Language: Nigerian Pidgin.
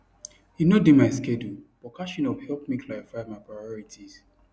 e no dey my schedule but catching up help me clarify my priorities